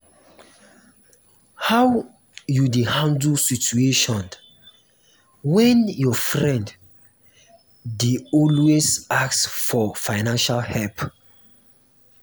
how you dey handle situation when um your friend um dey always ask for fiancial help?